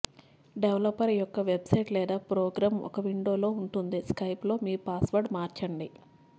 developer యొక్క website లేదా program ఒక విండో లో ఉంటుంది స్కైప్ లో మీ పాస్వర్డ్ను మార్చండి